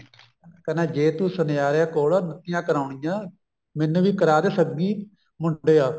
ਕਹਿੰਦਾ ਜੇ ਤੂੰ ਸੁਨਿਆਰੇ ਕੋਲ ਨੱਤੀਆਂ ਕਰਾਉਣੀਆ ਮੈਨੂੰ ਵੀ ਕਰਾਦੇ ਸੱਗੀ ਮੁੰਡਿਆ